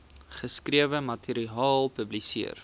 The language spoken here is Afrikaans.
geskrewe materiaal publiseer